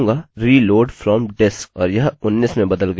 मैं लिखूँगाreload from disk